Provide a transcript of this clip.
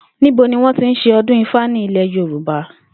Níbo ni wó̩n tí ń s̩e o̩dún ifá ní ilè̩ Yorùbá?